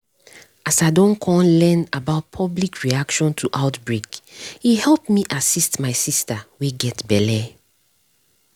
as i don come learn about public reaction to outbreak e help me assist my sister wey get belle